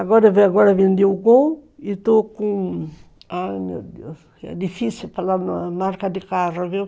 Agora vendi o Gol e estou com, ai meu Deus, é difícil falar na marca de carro, viu?